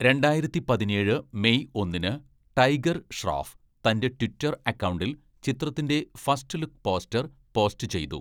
രണ്ടായിരത്തി പതിനേഴ് മെയ് ഒന്നിന്‌ ടൈഗർ ഷ്രോഫ് തന്റെ ട്വിറ്റർ അക്കൗണ്ടിൽ ചിത്രത്തിന്റെ ഫസ്റ്റ് ലുക്ക് പോസ്റ്റർ പോസ്റ്റ് ചെയ്തു.